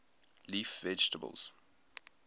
leaf vegetables